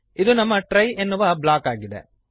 ಇದು ನಮ್ಮ ಟ್ರೈ ಎನ್ನುವ ಬ್ಲಾಕ್ ಆಗಿದೆ